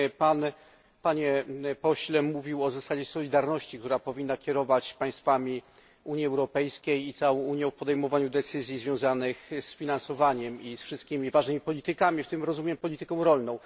Pan, panie pośle, mówił o zasadzie solidarności, która powinna kierować państwami Unii Europejskiej i całą Unią w podejmowaniu decyzji związanych z finansowaniem i wszystkimi ważnymi politykami, w tym, jak rozumiem, polityką rolną.